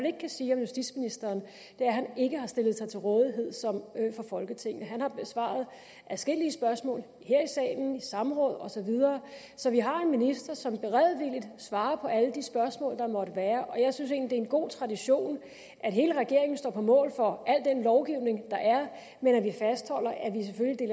ikke kan sige om justitsministeren er at han ikke har stillet sig til rådighed for folketinget han har besvaret adskillige spørgsmål her i salen i samråd osv så vi har en minister som beredvilligt svarer på alle de spørgsmål der måtte være jeg synes egentlig en god tradition at hele regeringen står på mål for al den lovgivning der er men at vi fastholder